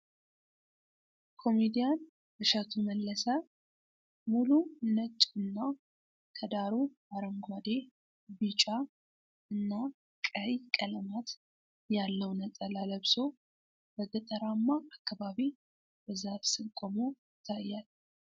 ኮሚዲያን እሸቱ መለሰ ሙሉ ነጭ እና ከዳሩ አረንጓዴ ፣ቢጫ እና ቀይ ቀለማት ያለው ነጠላ ለብሶ በገጠራማ አካባቢ በዛፍ ስር ቆሞ ይታያል።